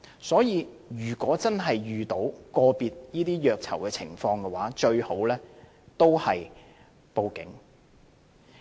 所以，如果真的遇到個別的虐囚情況，最佳方法都是報警。